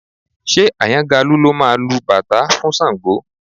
Ṣé Àyàngalú ló máa lu bàtá fún Ṣàngó?